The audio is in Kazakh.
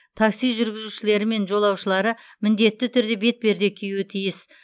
такси жүргізушілері мен жолаушылары міндетті түрде бетперде киюі тиіс